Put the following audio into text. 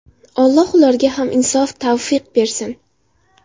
Alloh ularga ham insof‑tavfiq bersin!